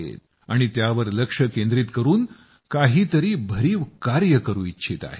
आणि त्यावर लक्ष केंद्रीत करून काहीतरी भरीव कार्य करू इच्छित आहेत